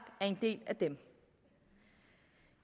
er en del af dem